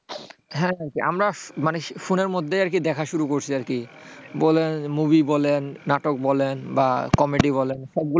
হ্যাঁ হ্যাঁ আমরা মানে ফোনের মধ্যেই দেখা শুরু করছি আর কি বলেন movie বলেন নাটক বলেন বা comedy বলেন,